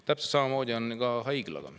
Täpselt samamoodi on ka haiglaga.